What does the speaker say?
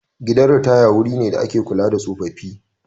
Gidan ritaya wuri ne da ake kula da tsofaffi.